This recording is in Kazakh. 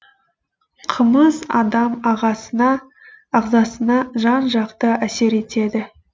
қымыз адам ағзасына жан жақты әсер етеді